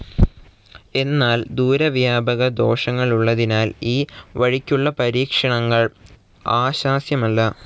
എന്നാൽ ദൂരവ്യാപകദോഷങ്ങളുള്ളതിനാൽ ഈ വഴിക്കുള്ള പരീക്ഷണങ്ങൾ ആശാസ്യമല്ല.